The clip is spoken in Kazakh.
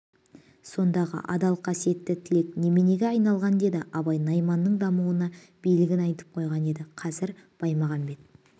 сондағы адал қасиетті тілек неменеге айналған деді абай найманның дауына билігін айтып қойған еді қазір баймағамбет